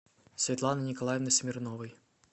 светланы николаевны смирновой